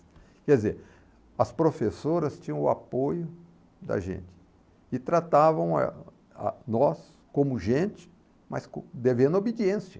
Quer dizer, as professoras tinham o apoio da gente e tratavam eh ah nós como gente, mas devendo obediência.